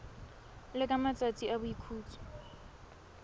le ka matsatsi a boikhutso